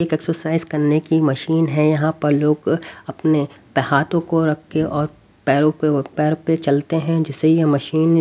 एक एक्सरसाइज करने की मशीन है यहां पर लोग अपने हाथों को रख के और पैरों पर पैर पे चलते हैं जिससे यह मशीन --